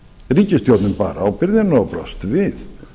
ríkisstjórnin bar ábyrgðina og brást við